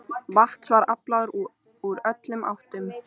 Vatns var aflað úr öllum áttum.